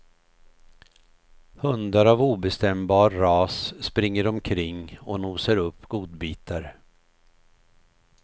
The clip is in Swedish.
Hundar av obestämbar ras springer omkring och nosar upp godbitar.